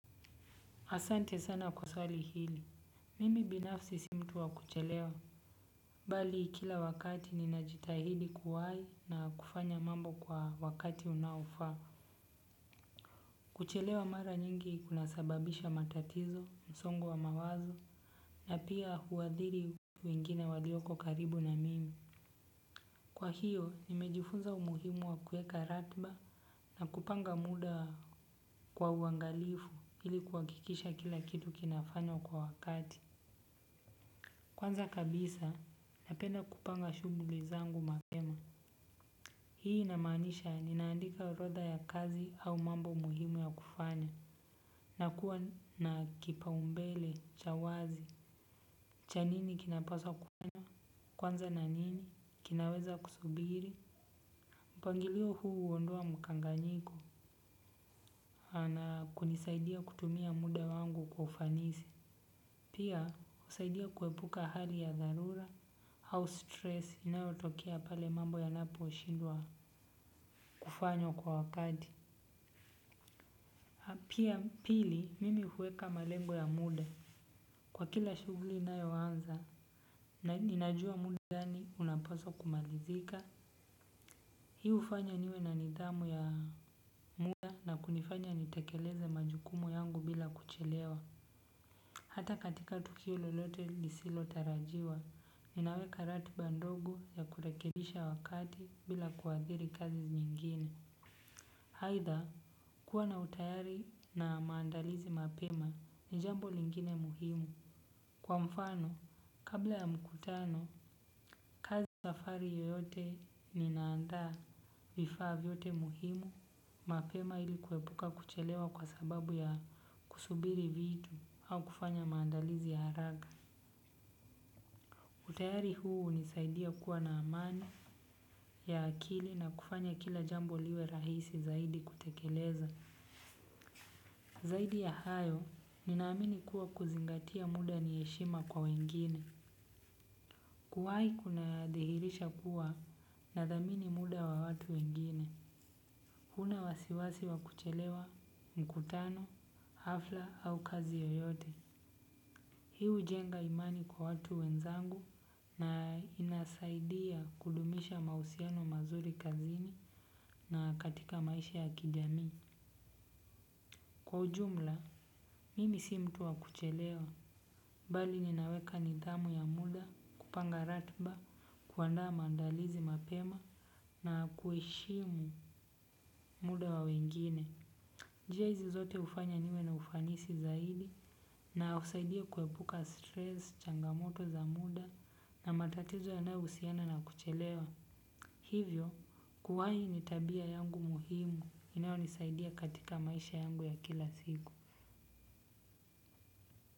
Asante sana kwa swali hili, mimi binafsi simtuwa kuchelewa, bali kila wakati ninajitahidi kuwai na kufanya mambo kwa wakati unaufa, kuchelewa mara nyingi ikunasababisha matatizo, msongo wa mawazo, na pia huadhiri wengine walioko karibu na mimi. Kwa hiyo, nimejifunza umuhimu wa kueka ratba na kupanga muda kwa uangalifu ili kuwakikisha kila kitu kinafanywa kwa wakati. Kwanza kabisa napenda kupanga shuguli zangu mapema. Hii inamanisha ninaandika orodha ya kazi au mambo muhimu ya kufanya. Nakuwa na kipaumbele, cha wazi, cha nini kinapaswa kufanya. Kwanza na nini kinaweza kusubiri mpangilio huu huondoa mkanganyiko na kunisaidia kutumia muda wangu kwa ufanisi kwa ufanisi. Pia usaidia kuepuka hali ya dharura hau stress inayo tokea pale mambo yanapo shindwa kufanywa kwa wakati. Pili mimi huweka malengo ya muda. Kwa kila shuguli inayo anza ninajua muda gani unaposo kumalizika. Hiu ufanya niwe na nidhamu ya muda na kunifanya nitekeleze majukumu yangu bila kuchelewa. Hata katika tukio lolote lisilo tarajiwa ninaweka ratiba ndogo ya kurekekisha wakati bila kuadhiri kazi nyingine. Haitha, kuwa na utayari na maandalizi mapema ni jambo lingine muhimu. Kwa mfano, kabla ya mkutano, kazi zafari yoyote ni naandaa vifaa vyote muhimu mapema ilikuwepuka kuchelewa kwa sababu ya kusubiri vitu au kufanya maandalizi ya haraga. Utayari huu hunisaidia kuwa na amani ya akili na kufanya kila jambo liwe rahisi zaidi kutekeleza. Zaidi ya hayo, ninaamini kuwa kuzingatia muda ni heshima kwa wengine. Kuwai kuna dhihirisha kuwa nadhamini muda wa watu wengine. Huna wasiwasi wa kuchelewa, mkutano, hafla au kazi yoyote. Hiu jenga imani kwa watu wenzangu na inasaidia kudumisha mausiano mazuri kazini na katika maisha ya kijamii. Kwa ujumla, mimi si mtu wa kuchelewa, bali ninaweka nidhamu ya muda, kupanga ratba, kuandaa mandalizi mapema, na kueshimu muda wa wengine. Jia hizi zote ufanya niwe na ufanisi zaidi, na usaidia kuepuka stress changamoto za muda, na matatizo ya na usiana na kuchelewa. Hivyo kuwai ni tabia yangu muhimu inayonisaidia katika maisha yangu ya kila siku.